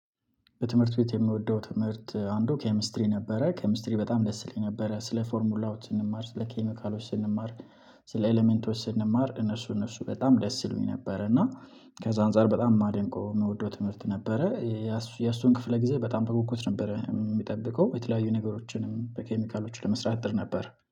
በትምህርት ቤት የምወደው ትምህርት አንዱ ኬሚስትሪ ነበረ። ኬሚስትሪ በጣም ደስ ይለኝ ነበረ። ስለ ፎርሙላዎች ስንማር፥ ስለ ኬሚካሎች ስንማር ፥ስለ ኤለመንቶች ስንማር እነሱ እነሱ በጣም ደስ ይሉኝ ነበር። እና ከዛ አንፃር በጣም የማደንቀው የምወደው ትምህርት ነበረ። የእሱን ክፍለ ጊዜ በጣም በጉጉት ነበረ የሚጠብቀው። የተለያዩ ነገሮችንም በኬሚካሎቹ ለመስራት እጥር ነበር።